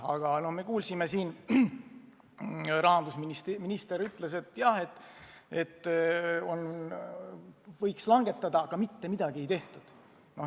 Aga me kuulsime, et rahandusminister ütles siin, et võiks tõesti langetada, aga mitte midagi ei tehtud.